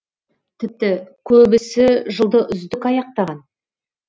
тіпті көбісі жылды үздік аяқтаған